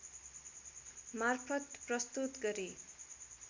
मार्फत प्रस्तुत गरी